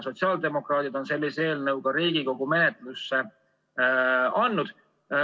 Sotsiaaldemokraadid on sellise eelnõu ka Riigikogu menetlusse andnud.